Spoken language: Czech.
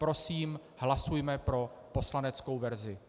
Prosím, hlasujme pro poslaneckou verzi.